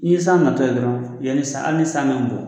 N'i ye san natɔ ye dɔrɔn, yanni san hali ni san bɛ n bugɔ